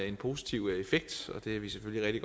en positiv effekt det er vi selvfølgelig